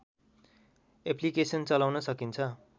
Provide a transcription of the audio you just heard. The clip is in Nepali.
एप्लिकेसन चलाउन सकिन्छ